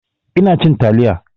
Ina cin taliya